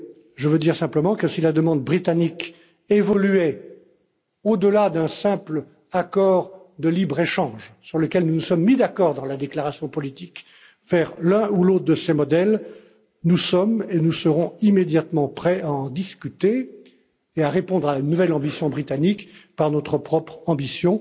Je veux dire simplement que si la demande britannique évoluait au delà d'un simple accord de libre échange, sur lequel nous nous sommes mis d'accord dans la déclaration politique, en vue de réaliser l'un ou l'autre de ces modèles, nous sommes et nous serons immédiatement prêts à en discuter et à répondre à une nouvelle ambition britannique par notre propre ambition.